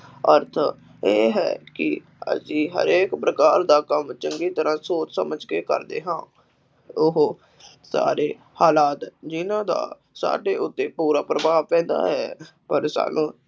ਅਰਥ ਇਹ ਹੈ ਕਿ ਅਸੀਂ ਹਰੇਕ ਪ੍ਰਕਾਰ ਦਾ ਕੰਮ ਚੰਗੀ ਤਰ੍ਹਾਂ ਸੋਚ ਸਮਝ ਕੇ ਕਰਦੇ ਹਾਂ, ਉਹ ਸਾਰੇ ਹਾਲਾਤ ਜਿੰਨ੍ਹਾ ਦਾ ਸਾਡੇ ਉੱਤੇ ਪੂਰਾ ਪ੍ਰਭਾਵ ਪੈਂਦਾ ਹੈ, ਪਰ ਸਾਨੂੰ